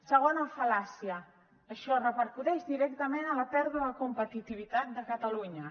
segona fal·làcia això repercuteix directament a la pèrdua de competitivitat de catalunya